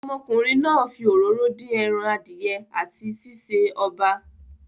Ọmọkùnrin náà fi òróró din eran adìye ati sí sè oba.